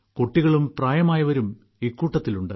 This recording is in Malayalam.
കുട്ടികളും പ്രായമായവരും ഇക്കൂട്ടത്തിലുണ്ട്